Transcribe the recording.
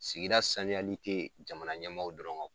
Sigida sanuyali te jamana ɲɛmaw dɔrɔn kan o